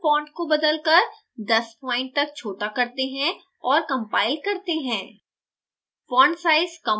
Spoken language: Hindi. अब हम font को बदलकर 10 point तक छोटा करते हैं और compile करते हैं